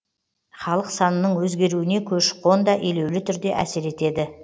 халық санының өзгеруіне көші қон да елеулі түрде әсер етеді